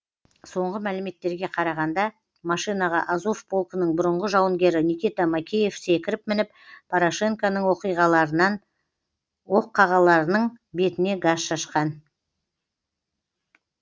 соңғы мәліметтерге қарағанда машинаға азов полкінің бұрынғы жауынгері никита макеев секіріп мініп порошенконың оққағарларының бетіне газ шашқан